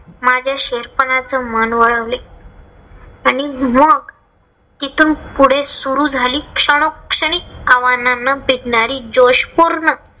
माझ्या शेर्पनाच मन वळवले आणि म्हणून इथून पुढे सुरु झाली क्षणोक्षणी आव्हानांना भिडणारी जोशपूर्ण